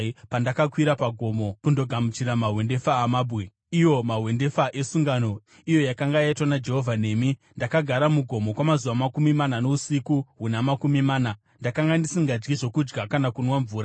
Pandakakwira pagomo kundogamuchira mahwendefa amabwe, iwo mahwendefa esungano iyo yakanga yaitwa naJehovha nemi, ndakagara mugomo kwamazuva makumi mana nousiku huna makumi mana; ndakanga ndisingadyi zvokudya kana kunwa mvura.